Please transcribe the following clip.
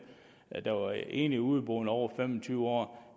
der var enlige og udeboende over fem og tyve år